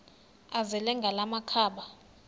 azele ngala makhaba